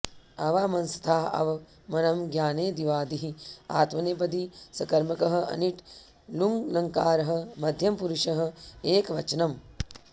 अवामंस्थाः अव मनँ ज्ञाने दिवादिः आत्मनेपदी सकर्मकः अनिट् लुङ्लकारः मध्यमपुरुषः एकवचनम्